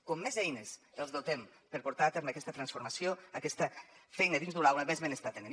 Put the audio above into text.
com de més eines els dotem per portar a terme aquesta transformació aquesta feina dins d’una aula més benestar tenen